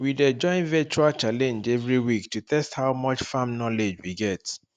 we dey join virtual challenge every week to test how much farm knowledge we get